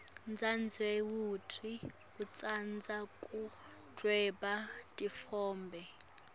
dzadzewetfu utsandza kudvweba titfombe